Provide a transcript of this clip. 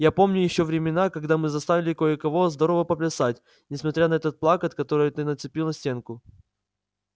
я помню ещё времена когда мы заставили кое-кого здорово поплясать несмотря на этот плакат который ты нацепил на стенку